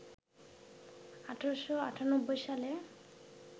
১৮৯৮ সালে